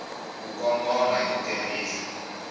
ku kongoma hi ku tirhisa